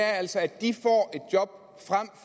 er altså at de